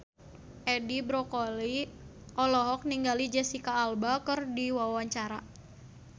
Edi Brokoli olohok ningali Jesicca Alba keur diwawancara